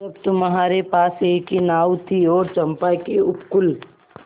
जब तुम्हारे पास एक ही नाव थी और चंपा के उपकूल